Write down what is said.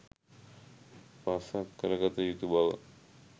පසක් කරගත යුතු බව